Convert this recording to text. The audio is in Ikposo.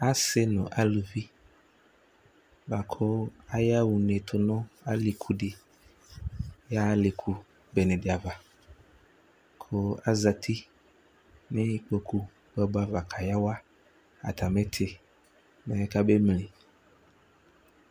Asɩ nʋ aluvi bʋa kʋ ayaɣa une tʋ nʋ alɩku dɩ yaɣa alɩku bene dɩ ava kʋ azati nʋ ikpoku ava kayawa atamɩ ɩtɩ, mɛ kabemli